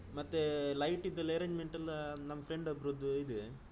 ಮತ್ತೆ light ದೆಲ್ಲಾ arrangement ಎಲ್ಲ ನಮ್ದು friend ಒಬ್ರುದು ಇದೆ.